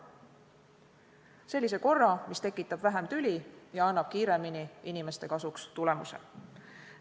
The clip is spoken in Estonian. Sellise korra, mis tekitab vähem tüli ja annab kiirema tulemuse.